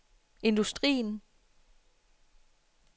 industrien